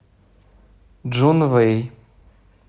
чжунвэй